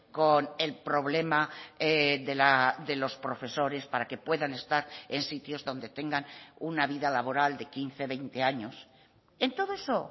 con el problema de los profesores para que puedan estar en sitios donde tengan una vida laboral de quince veinte años en todo eso